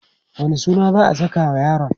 wani suna za'a sakawa yaron?